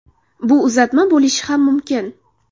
Bu uzatma bo‘lishi ham mumkin.